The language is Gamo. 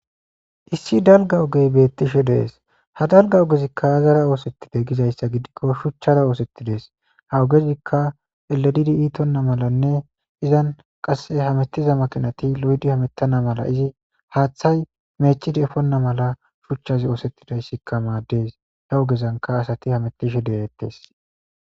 issi dalga ogey beettishe dees ha dalga ogezikka hazara oosettide gizayssa gidikko shuchchara oosettidees ha ogezikka eledidi iitonna malanne izan qasse hamettiza makinati lo7di hamettana mala izi haaththay meechidi efonna mala shuchchazi oosettidayssikka maaddes he ogezanka asati hametishe deeettes